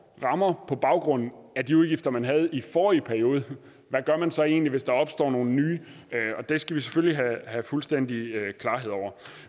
rammer på baggrund af de udgifter man havde i forrige periode hvad gør man så egentlig hvis der opstår nogle nye det skal vi selvfølgelig have fuldstændig klarhed over